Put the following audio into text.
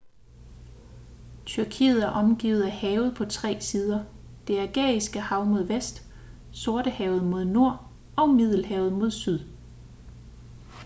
tyrkiet er omgivet af have på tre sider det ægæiske hav mod vest sortehavet mod nord og middelhavet mod syd